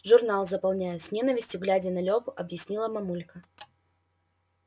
журнал заполняю с ненавистью глядя на леву объяснила мамулька